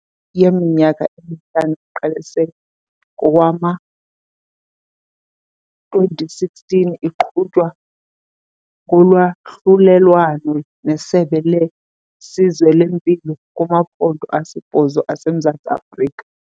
Iprojekthi yeminyaka emihlanu, eqalise ngowama-2016, iqhutywa ngolwahlulelwano neSebe leSizwe leMpilo kumaphondo asibhozo aseMzantsi Afrika.